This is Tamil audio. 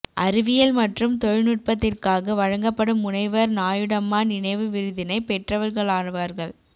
அறிவியல் மற்றும் தொழில்நுட்பத்திற்காக வழங்கப்படும் முனைவர் நாயுடம்மா நினைவு விருதினை பெற்றவர்களாவார்கள்